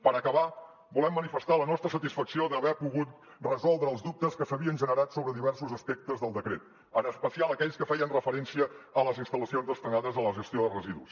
per acabar volem manifestar la nostra satisfacció d’haver pogut resoldre els dubtes que s’havien generat sobre diversos aspectes del decret en especial aquells que feien referència a les instal·lacions destinades a la gestió de residus